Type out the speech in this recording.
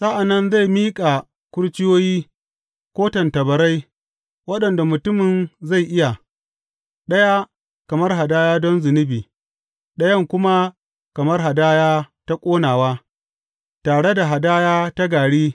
Sa’an nan zai miƙa kurciyoyi ko tattabarai, waɗanda mutumin zai iya, ɗaya kamar hadaya don zunubi ɗayan kuma kamar hadaya ta ƙonawa, tare da hadaya ta gari.